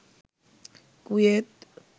Kuwait